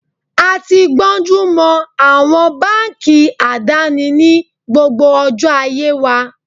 A ti gbónjú mọ àwọn báńkì àdáni ní gbogbo ọjọ́ ayé wa.